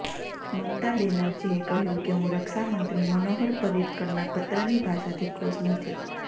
મમતા બેનરજીએ કહ્યું કે હું રક્ષામંત્રી મનોહર પર્રિકરના પત્રની ભાષાથી ખુશ નથી